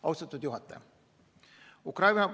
Austatud juhataja!